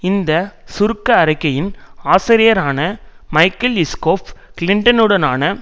இந்த சுருக்க அறிக்கையின் ஆசிரியரான மைகல் இஸ்கோஃப் கிளின்டனுடனான